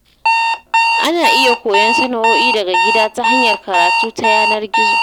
Ana iya koyon sana’o'i daga gida ta hanyar karatu ta yanar gizo.